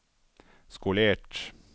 skolert